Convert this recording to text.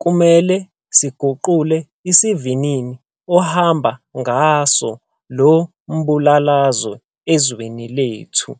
kumele siguqule isivinini ohamba ngaso lo mbulalazwe ezweni lethu.